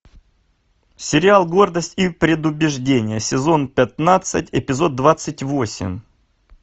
сериал гордость и предубеждение сезон пятнадцать эпизод двадцать восемь